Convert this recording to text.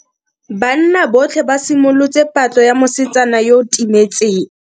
Banna botlhe ba simolotse patlo ya mosetsana yo o timetseng.